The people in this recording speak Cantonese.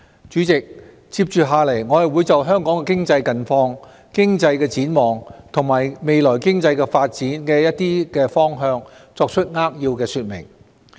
主席，接着下來，我會就香港的經濟近況、經濟展望和未來經濟發展的一些方向作扼要說明。